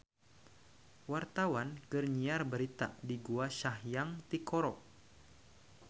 Wartawan keur nyiar berita di Gua Sanghyang Tikoro